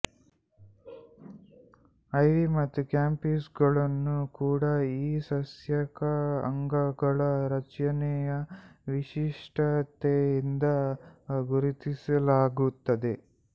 ಐವಿ ಮತ್ತು ಕ್ಯಾಂಪಿಸ್ಗಳನ್ನು ಕೂಡ ಈ ಸಸ್ಯಕ ಅಂಗಗಳ ರಚನೆಯ ವಿಶಿಷ್ಟತೆಯಿಂದ ಗುರುತಿಸಲಾಗುತ್ತದೆ